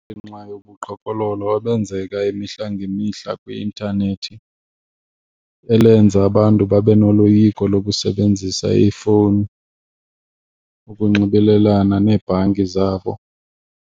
Ngenxa yobuqhophololo obenzeka imihla ngemihla kwi-intanethi elenza abantu babe noloyiko lokusebenzisa iifowuni ukunxibelelana neebhanki zabo.